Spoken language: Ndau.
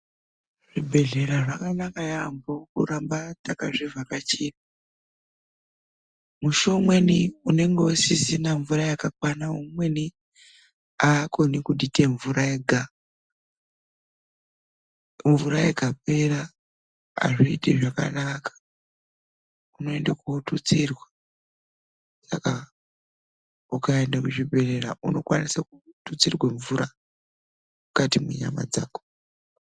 Zvibhedhlera zvakanaka yaambo kuramba takazvivhakachira. Musi umweni unenge usisina mvura yakakwana, amweni aakoni kudita mvura yega. Mvura ikapera azviiti zvakanaka, inoita kututsirwa, saka ukaenda kuzvibhedhlera unokwanisa kututsirwa mvura mukati mwenyama dzako.